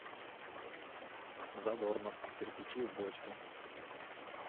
задорнов кирпичи в бочке